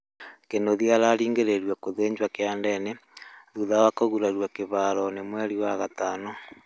kĩnũthĩa ararĩngĩrĩirĩo gũthĩnjwo kĩandeĩnĩ thũtha wa kũgũrarĩo kĩharoĩnĩ mwerĩ wa gatano